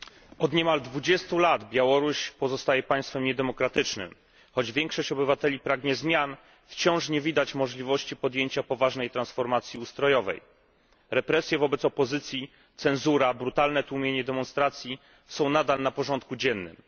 Panie Przewodniczący! Od niemal dwudziestu lat Białoruś pozostaje państwem niedemokratycznym. Choć większość obywateli pragnie zmian, wciąż nie widać możliwości podjęcia poważnej transformacji ustrojowej. Represje wobec opozycji, cenzura, brutalne tłumienie demonstracji są nadal na porządku dziennym.